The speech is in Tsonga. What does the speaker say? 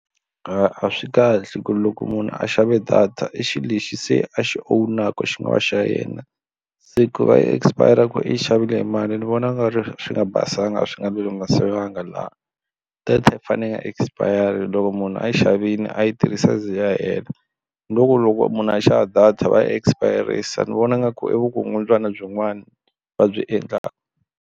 A swi kahle ku ri loko munhu a xavile data i xilo lexi se a xi own-aka xi nga va xa yena se ku va yi expire ku i xavile mali ni vona ku nga ri swi nga basanga swi nga laha data yi fanele yi nga expire loko munhu a yi xavile a yi tirhisa yi ze yi hela loko munhu a xava data va yi expir-isa ni vona nga ku i vukungundzwana byin'wana va byi endlaka.